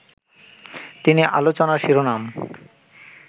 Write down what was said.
তিনি আলোচনার শিরোনাম